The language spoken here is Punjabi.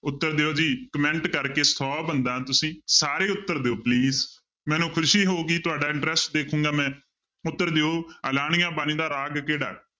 ਉੱਤਰ ਦਿਓ ਜੀ comment ਕਰਕੇ ਸੌ ਬੰਦਾ ਤੁਸੀਂ ਸਾਰੇ ਉੱਤਰ ਦਿਓ please ਮੈਨੂੰ ਖ਼ੁਸ਼ੀ ਹੋਊਗੀ ਤੁਹਾਡਾ interest ਦੇਖਾਂਗਾ ਮੈਂ, ਉੱਤਰ ਦਿਓ ਆਲਾਣੀਆ ਬਾਣੀ ਦਾ ਰਾਗ ਕਿਹੜਾ?